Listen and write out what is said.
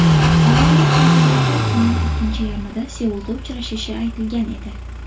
Avvalroq prezidentlar kunning ikkinchi yarmida Seulda uchrashishi aytilgan edi.